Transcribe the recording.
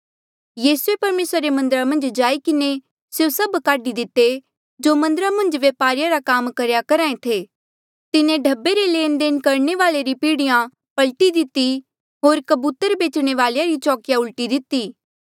यीसूए परमेसरा रे मन्दरा मन्झ जाई किन्हें स्यों सभ काढी दिते जो मन्दरा मन्झ व्य्पारिये रा काम करेया करहा ऐें थे तिन्हें ढब्बे रे लेणदेण करणे वाले री पीढ़िया पलटी दिती होर कबूतर बेचणे वालेया री चौकिया उलट दिती